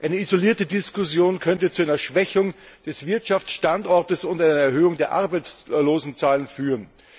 Eine isolierte Diskussion könnte zu einer Schwächung des Wirtschafsstandorts und einer Erhöhung der Arbeitslosenzahlen führen.